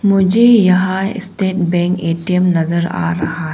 मुझे यहां State Bank ATM नजर आ रहा है।